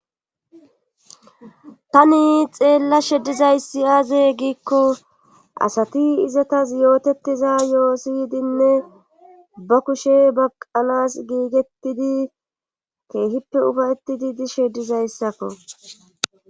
Tani xeellashe dizayssi aaze giikko asati izetas yootettiza yoho siyidinne ba kushe baqqanas giigettidi keehippe ufayttidi dishe dizayssako.